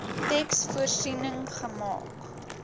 teks voorsiening gemaak